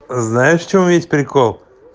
знаешь в чём весь прикол